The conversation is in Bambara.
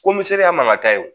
Ko miseli ya man ka taa ye